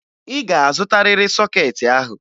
Ị ga-azụtarịrị sọkeetị ahụ!